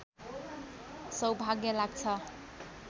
सौभाग्य लाग्छ